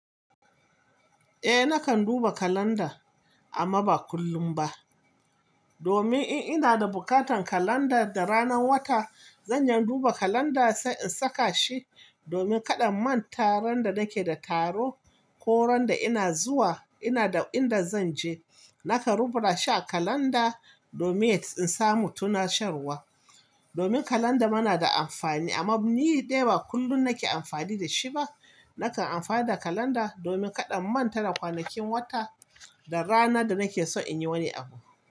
Eh nakan duba kalanda amma ba kullum ba. Domin in ina da bukatan kalanda da ranar wata, zan iya duba kalanda sai in saka shi, domin kaɗa in manta randa nake nake da taro ko randa ina zuwa ina da inda zan je. Nakan rubuta shi a kalanda domin in samu tunasherwa. Domin kalanda mana da amfani amma ni ɗai ba kullum nake amfani da shi ba. Nakan amfani da kalanda domin kaɗan manta da kwanakin wata da rana da nake so in yi wani abu.